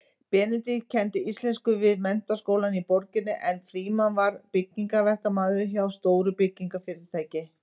Benedikt kenndi íslensku við menntaskóla í borginni en Frímann var byggingaverkamaður hjá stóru byggingarfyrirtæki.